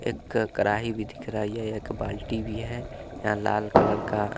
एक्क कराही भी दिख रही है एक बाल्टी भी है या लाल कलर का --